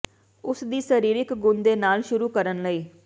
ਉਸ ਦੀ ਸਰੀਰਕ ਗੁਣ ਦੇ ਨਾਲ ਸ਼ੁਰੂ ਕਰਨ ਲਈ